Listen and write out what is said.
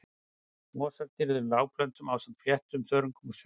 Mosar tilheyrðu lágplöntum ásamt fléttum, þörungum og sveppum.